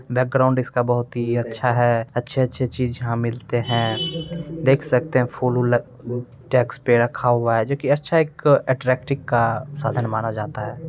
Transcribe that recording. Background इसका बहुत ही अच्छा है। अच्छे-अच्छे चीज यहाँ मिलते हैं। देख सकते हैं फूल-वूल डेस्क पे रखा हुआ है जो कि अच्छा एक अट्रैक्टिव का साधन माना जाता है।